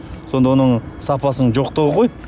сонда оның сапасының жоқтығы ғой